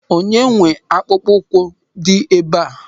Onye nwe akpụkpọ ụkwụ dị ebe a?